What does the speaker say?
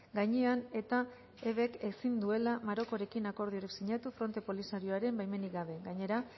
gainean eta ezin duela marokorekin akordiorik sinatu fronte polisarioaren baimenik gabe gainera